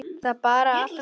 Það er bara allt gott.